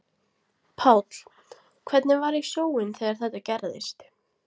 Páll: Hvernig var í sjóinn þegar þetta gerðist?